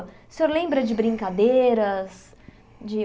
O senhor lembra de brincadeiras? De